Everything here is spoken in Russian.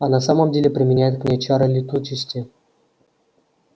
а на самом деле применяет к ней чары летучести